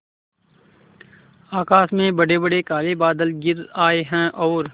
आकाश में बड़ेबड़े काले बादल घिर आए हैं और